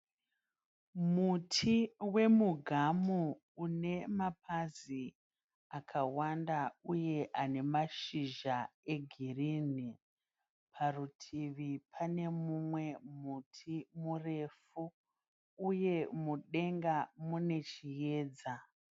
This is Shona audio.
Muri wemugamu une mapazi akawanda uye ane mashizha egirini. Parutivi pane mumwe muti murefu uye mudenga mune chiedza.